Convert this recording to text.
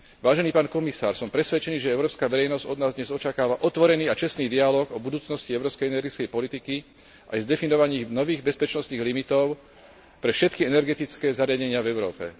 Vážený pán komisár, som presvedčený, že európska verejnosť od nás dnes očakáva otvorený a čestný dialóg o budúcnosti európskej energetickej politiky, aj s definovaním nových bezpečnostných limitov pre všetky energetické zariadenia v Európe.